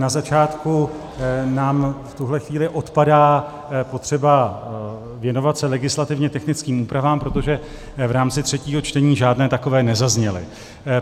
Na začátku nám v tuhle chvíli odpadá potřeba věnovat se legislativně technickým úpravám, protože v rámci třetího čtení žádné takové nezazněly.